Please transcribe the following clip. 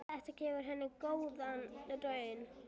Þetta hefur gefið góða raun.